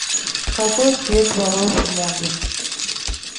какой цвет волос в моде